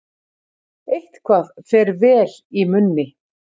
Eitthvað fer vel í munni